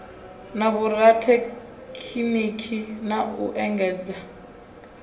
na vhorathekhiniki na u engedzadza